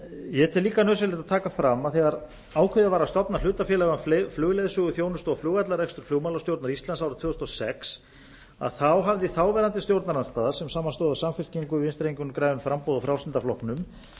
ég tel líka nauðsynlegt að taka fram að þegar ákveðið var að stofna hlutafélag um flugleiðsöguþjónustu og flugvallarrekstur flugmálastjórnar íslands árið tvö þúsund og sex hafði þáverandi stjórnarandstaða sem samanstóð af samfylkingu vinstri hreyfingunni grænu framboði og frjálslynda flokknum